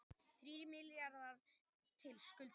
Þrír milljarðar til skuldara